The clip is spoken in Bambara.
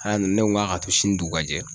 Aa nin ne ko k'a ka to sini dugu ka jɛ